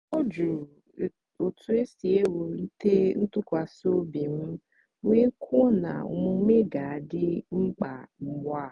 ọ jụrụ otu esi ewulite ntụkwasị obi m wee kwuo na omume ga-adị mkpa ugbu a.